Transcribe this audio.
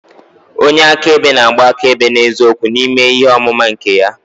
Onye akaebe na-agba akaebe n'eziokwu n'ime ihe ọmụma nke ya.